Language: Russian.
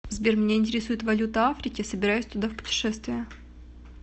сбер меня интересует валюта африки собираюсь туда в путешествие